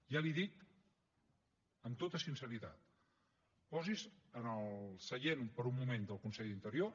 ja li ho dic amb tota sinceritat posi’s en el seient per un moment del conseller d’interior